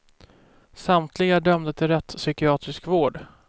Samtliga är dömda till rättspsykiatrisk vård.